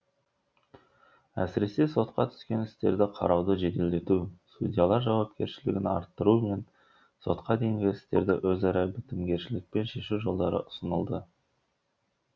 әсіресе сотқа түскен істерді қарауды жеделдету судьялар жауапкершілігін арттыру мен сотқа дейінгі істерді өзара бітімгершілікпен шешу жолдары ұсынылды